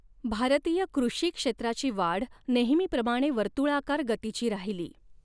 भारतीय कृषी क्षेत्राची वाढ नेहमीप्रमाणे वर्तृळाकार गतीची राहिली.